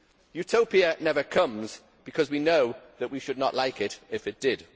Utopia never comes, because we know that we would not like it if it did.